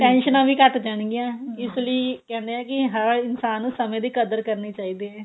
ਟੈਨਸ਼ਨਾ ਵੀ ਘੱਟ ਜਾਣ ਗਈਆਂ ਇਸ ਲਈ ਕਹਿੰਦੇ ਏ ਕੀ ਹਰ ਇੱਕ ਇਨਸਾਨ ਨੂੰ ਸਮੇਂ ਦੀ ਕਦਰ ਕਰਨੀ ਚਾਹੀਦੀ ਏ